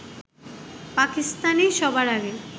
পাকিস্তানই সবার আগে